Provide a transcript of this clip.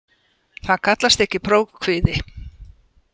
Það kallast ekki prófkvíði.